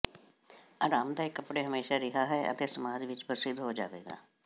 ਆਰਾਮਦਾਇਕ ਕੱਪੜੇ ਹਮੇਸ਼ਾ ਰਿਹਾ ਹੈ ਅਤੇ ਸਮਾਜ ਵਿਚ ਪ੍ਰਸਿੱਧ ਹੋ ਜਾਵੇਗਾ